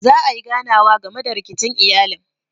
Za ayi ganawa game da rikicin iyalin.